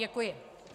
Děkuji.